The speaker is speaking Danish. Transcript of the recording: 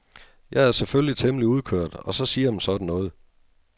Jeg er selvfølgelig temmelig udkørt og så siger man sådan noget.